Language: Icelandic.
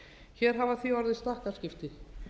hér hafa því orðið stakkaskipti